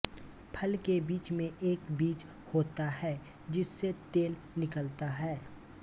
फल के बीच में एक बीज होता है जिससे तेल निकलता है